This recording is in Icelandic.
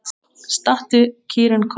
Stattu, kýrin Kolla!